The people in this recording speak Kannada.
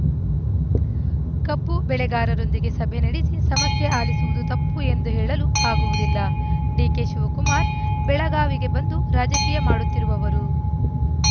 ಕಬ್ಬು ಬೆಳೆಗಾರರೊಂದಿಗೆ ಸಭೆ ನಡೆಸಿ ಸಮಸ್ಯೆ ಆಲಿಸುವುದು ತಪ್ಪು ಎಂದು ಹೇಳಲು ಆಗುವುದಿಲ್ಲ ಡಿಕೆ ಶಿವಕುಮಾರ್‌ ಬೆಳಗಾವಿಗೆ ಬಂದು ರಾಜಕೀಯ ಮಾಡುತ್ತಿರುವವರು